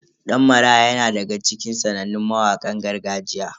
Dan Maraya yana daga cikin sanannun mawakan gargajiya.